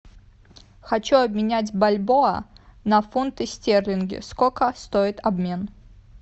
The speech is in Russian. хочу обменять бальбоа на фунты стерлинги сколько стоит обмен